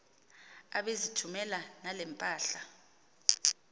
ebezithumela nale mpahla